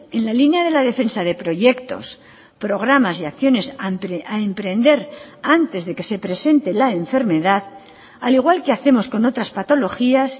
en la línea de la defensa de proyectos programas y acciones a emprender antes de que se presente la enfermedad al igual que hacemos con otras patologías